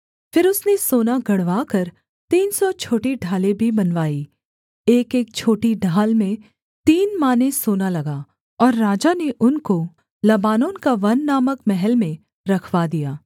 फिर उसने सोना गढ़वाकर तीन सौ छोटी ढालें भी बनवाईं एकएक छोटी ढाल में तीन माने सोना लगा और राजा ने उनको लबानोन का वन नामक महल में रखवा दिया